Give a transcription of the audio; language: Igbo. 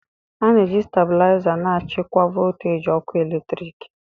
A na-eji stabiliza na-achịkwa voltaji ọkụ eletrik